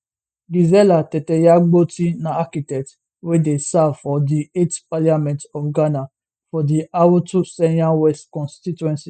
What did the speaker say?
gizella tetteyagbotui na architect wey dey serve for di 8th parliament of ghana for di awutu senya west constituency